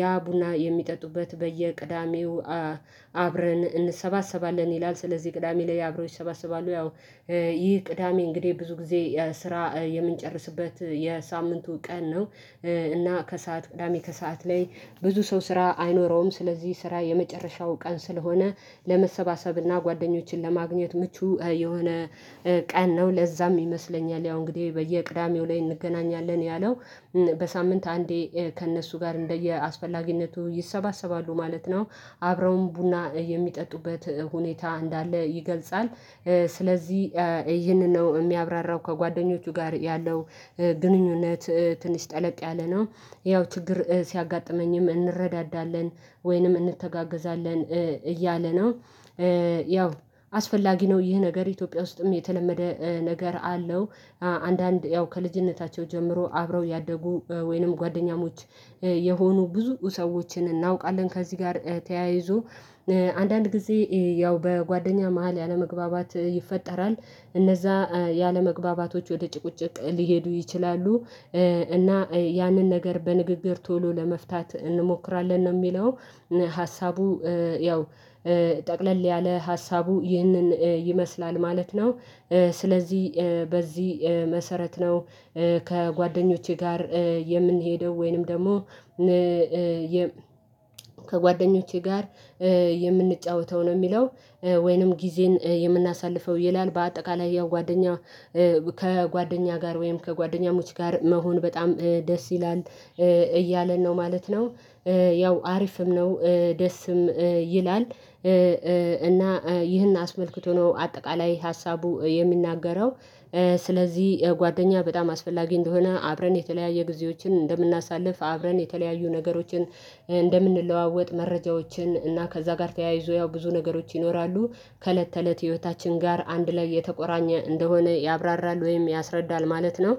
ያ ቡና የሚጠጡበት በየቅዳሜው አብረን እንሰባሰባለን ይላል ስለዚህ ቅዳሜ ላይ አብረው ይሰባሰባሉ ያው ይህ ቅዳሜ እንግዲህ ብዙ ጊዜ ስራ የምንጨርስበት የሳምንቱ ቀን ነው። እና ከሰአት ቅዳሜ ከሰአት ላይ ብዙ ሰው ስራ አይኖረውም ስለዚህ ስራ የመጨረሻው ቀን ስለሆነ ለመሰባሰብና ጓደኞችን ለማግኘት ምቹ የሆነ ቀን ነው ለዛም ይመስለኛል ያው እንግዲህ በየቅዳሜው ላይ እንገናኛለን ያለው በሳምንት አንዴ ከእነሱ ጋር እንደየአስፈላጊነቱ ይሰባሰባሉ ማለት ነው አብረውም ቡና የሚጠጡበት ሁኔታ እንዳለ ይገልጻል። ስለዚህ ይህንን ነው የሚያብራራው ከጓደኞቹ ጋር ያለው ግንኙነት ትንሽ ጠለቅ ያለ ነው። ያው ችግር ሲያጋጥመኝም እንረዳዳለን ወይንም እንተጋገዛለን እያለ ነው። ያው አስፈላጊ ነው ይህ ነገር ኢትዮጵያ ውስጥም የተለመደ ነገር አለው። አንዳንድ ያው ከልጅነታቸው ጀምሮ አብረው ያደጉ ወይንም ጓደኛሞች የሆኑ ብዙ ሰዎችን እናውቃለን ከዚህ ጋር ተያይዞ አንዳንድ ጊዜ ያው በጓደኛ መሃል ያለመግባባት ይፈጠራል እነዛ ያለመግባባቶች ወደ ጭቅጭቅ ሊሄዱ ይችላሉ። እና ያንን ነገር በንግግር ቶሎ ለመፍታት እንሞክራለን ነው የሚለው ሀሳቡ ያው ጠቅለል ያለ ሀሳቡ ይህንን ይመስላል ማለት ነው። ስለዚህ በዚህ መሰረት ነው ከጓደኞቼ ጋር የምንሄደው ወይንም ደግሞ ከጓደኞቼ ጋር የምንጫወተው ነው የሚለው ወይንም ጊዜን የምናሳልፈው ይላል በአጠቃላይ ያው ጓደኛ ከጓደኛ ጋር ወይም ከጓደኛሞች ጋር መሆን በጣም ደስ ይላል እያለን ነው ማለት ነው። ያው አሪፍም ነው ደስም ይላል። እና ይህን አስመልክቶ ነው አጠቃላይ ሀሳቡ የሚናገረው። ስለዚህ ጓደኛ በጣም አስፈላጊ እንደሆነ አብረን የተለያየ ጊዜዎችን እንደምናሳልፍ አብረን የተለያዩ ነገሮችን እንደምንለዋወጥ መረጃዎችን እና ከዛ ጋር ተያይዞ ያው ብዙ ነገሮች ይኖራሉ። ከእለት ተእለት ህይወታችን ጋር አንድ ላይ የተቆራኘ እንደሆነ ያብራራል ወይም ያስረዳል ማለት ነው።